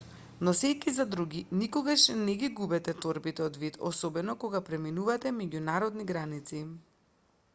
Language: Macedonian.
носејќи за други никогаш не ги губете торбите од вид особено кога преминувате меѓународни граници